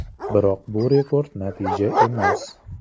Biroq bu rekord natija emas.